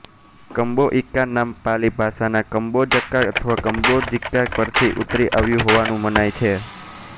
કંબોઇકા નામ પાલી ભાષાના કંબોજકા અથવા કંબોજિકા પરથી ઉતરી આવ્યું હોવાનું મનાય છે